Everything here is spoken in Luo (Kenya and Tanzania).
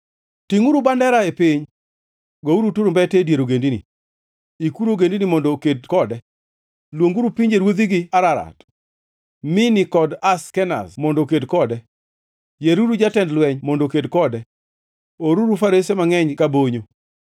“Tingʼuru bandera e piny! Gouru turumbete e dier ogendini! Ikuru ogendini mondo oked kode; luonguru pinjeruodhigi Ararat, Mini kod Ashkenaz mondo oked kode. Yieruru jatend lweny mondo oked kode; oruru farese mangʼeny ka bonyo.